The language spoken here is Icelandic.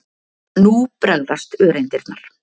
Nú bregðast öreindirnar.